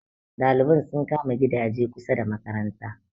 ɗaliban sun kama gidaje kusa da makaranta